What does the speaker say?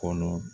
Kɔnɔ